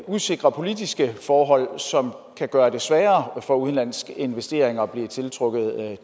usikre politiske forhold som kan gøre det sværere at tiltrække udenlandske investeringer